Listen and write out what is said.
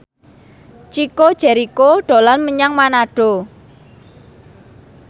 Chico Jericho dolan menyang Manado